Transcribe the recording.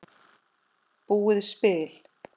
búið spil.